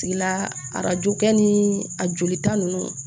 Tigila arajo kɛ ni a jolita ninnu